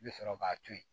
I bɛ sɔrɔ k'a to yen